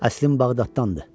Əslim Bağdaddandır.